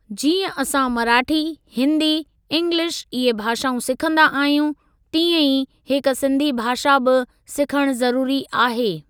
जीअं असां मराठी, हिंदी, इंग्लिश इहे भाषाऊं सिखंदा आहियूं तीअं ई हिक सिंधी भाषा बि सिखणु ज़रुरी आहे।